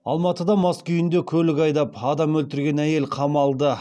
алматыда мас күйінде көлік айдап адам өлтірген әйел қамалды